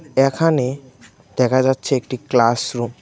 এখানে দেখা যাচ্ছে একটি ক্লাস রুম ।